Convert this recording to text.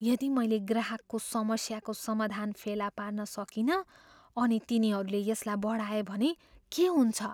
यदि मैले ग्राहकको समस्याको समाधान फेला पार्न सकिनँ अनि तिनीहरूले यसलाई बढाए भने के हुन्छ?